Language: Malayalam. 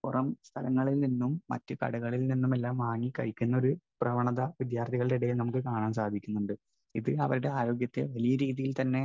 സ്പീക്കർ 1 പുറം സ്ഥലങ്ങളിൽനിന്നും മറ്റുകടകളിൽ നിന്നുമെല്ലാം വാങ്ങി കഴിക്കുന്ന ഒരു പ്രവണത വിദ്യാർഥികളുടെ ഇടയിൽ നമുക്ക് കാണാൻ സാധിക്കുന്നുണ്ട്. ഇത് അവരുടെ ആരോഗ്യത്തെ വലിയരീതിയിൽ തന്നെ